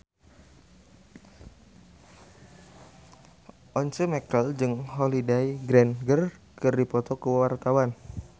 Once Mekel jeung Holliday Grainger keur dipoto ku wartawan